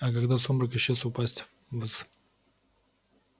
а когда сумрак исчез упасть в с